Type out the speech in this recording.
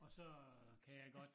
Og så øh kan jeg godt